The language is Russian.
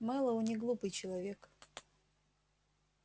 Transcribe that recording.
мэллоу неглупый человек